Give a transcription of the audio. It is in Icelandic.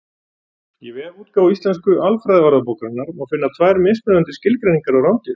Í vefútgáfu Íslensku alfræðiorðabókarinnar má finna tvær mismunandi skilgreiningar á rándýrum.